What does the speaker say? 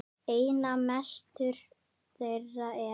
Einna mestur þeirra er